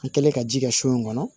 An kɛlen ka ji kɛ so in kɔnɔ